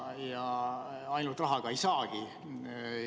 Ja ainult rahaga seda ei saagi.